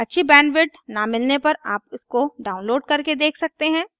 अच्छी बैंडविड्थ न मिलने पर आप इसको डाउनलोड करके देख सकते हैं